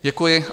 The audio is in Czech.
Děkuji.